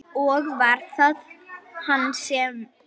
Og var það hann sem.?